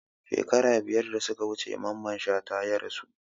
Shekaru biyar da suka wuce Mamman Shata ya rasu